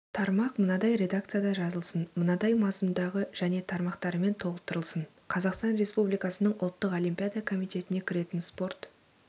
тармақ мынадай редакцияда жазылсын мынадай мазмұндағы және тармақтарымен толықтырылсын қазақстан республикасының ұлттық олимпиада комитетіне кіретін спорт